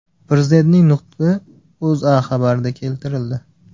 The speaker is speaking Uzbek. Prezidentning nutqi O‘zA xabarida keltirildi .